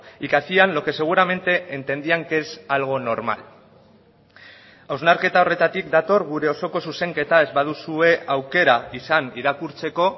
y que hacían lo que seguramente entendían que es algo normal hausnarketa horretatik dator gure osoko zuzenketa ez baduzue aukera izan irakurtzeko